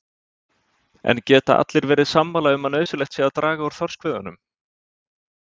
En geta allir verið sammála um að nauðsynlegt sé að draga úr þorskveiðunum?